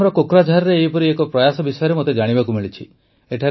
ଆସାମର କୋକ୍ରାଝାରରେ ଏପରି ଏକ ପ୍ରୟାସ ବିଷୟରେ ମୋତେ ଜାଣିବାକୁ ମିଳିଛି